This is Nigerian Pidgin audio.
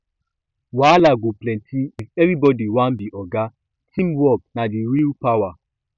wahala go plenty if everybody wan be oga teamwork na the real power